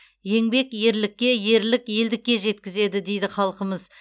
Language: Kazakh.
еңбек ерлікке ерлік елдікке жеткізеді дейді халқымыз